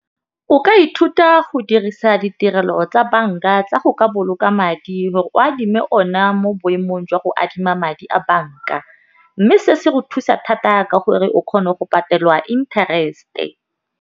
O ka ithuta go dirisa ditirelo tsa banka tsa go ka boloka madi gore o adime ona mo boemong jwa go adima madi a banka, mme se se go thusa thata ka gore o kgona go patelwa interest-e.